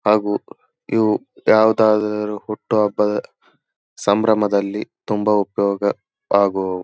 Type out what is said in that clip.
ಹಾಗು ಇವು ಯಾವುದಾದರು ಹುಟ್ಟು ಹಬ್ಬದ ಸಂಭ್ರಮದಲ್ಲಿ ತುಂಬಾ ಉಪಯೋಗ ಆಗುವವು.